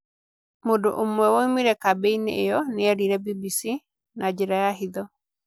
Mũndũ ũmwe woimire kambĩ-inĩ ĩyo nĩeerire BBC, na njĩra ya hitho.